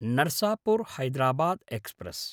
Narasapur Hyderabad express